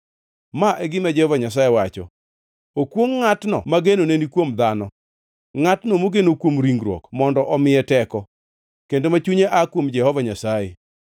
Ma e gima Jehova Nyasaye wacho: “Okwongʼ ngʼatno ma genone ni kuom dhano, ngʼatno mogeno kuom ringruok mondo omiye teko, kendo ma chunye aa kuom Jehova Nyasaye.